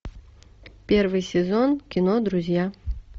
первый сезон кино друзья